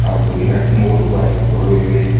ಹಾಗು ಎರಡ್ಮೂರು ಬೈಕ್ ಗಳು ಇವೆ.